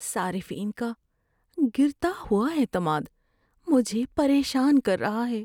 صارفین کا گرتا ہوا اعتماد مجھے پریشان کر رہا ہے۔